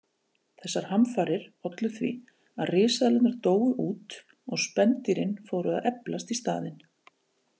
Þessar hamfarir ollu því að risaeðlurnar dóu út og spendýrin fóru að eflast í staðinn.